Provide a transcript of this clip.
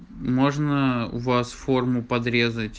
можно у вас форму подрезать